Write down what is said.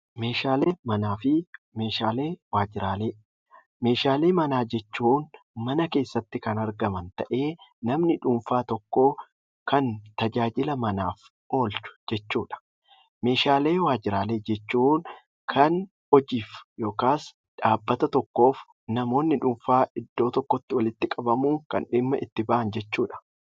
Meeshaalee manaa jechuun mana keessatti kan argaman ta'ee namni dhuunfaa tokko tajaajila manaatiif oolu jechuudha. Meeshaalee waajjiraalee jechuun kan hojiif yookaan dhaabbata tokkoof namoonni dhuunfaa iddoo tokkotti walitti qabamanuun kan dhimma itti bahan jechuudha